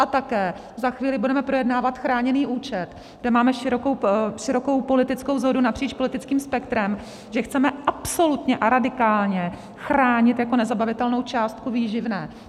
A také za chvíli budeme projednávat chráněný účet, kde máme širokou politickou shodu napříč politickým spektrem, že chceme absolutně a radikálně chránit jako nezabavitelnou částku výživné.